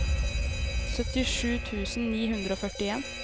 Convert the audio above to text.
syttisju tusen ni hundre og førtien